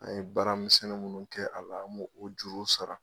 An ye baara misɛnnin munnu kɛ a la, an b'o juru sara.